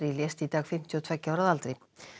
lést í dag fimmtíu og tveggja ára að aldri